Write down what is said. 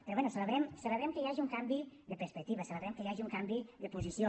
però bé celebrem que hi hagi un canvi de perspectiva celebrem que hi hagi un canvi de posició